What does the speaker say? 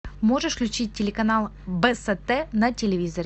можешь включить телеканал бст на телевизоре